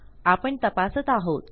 आपण तपासत आहोत